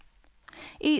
í